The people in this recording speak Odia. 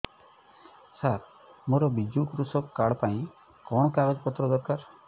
ସାର ମୋର ବିଜୁ କୃଷକ କାର୍ଡ ପାଇଁ କଣ କାଗଜ ପତ୍ର ଦରକାର